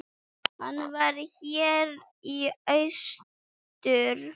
Og margar.